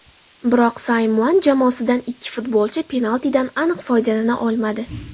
Biroq Simeone jamoasidan ikki futbolchi penaltidan aniq foydalana olmadi.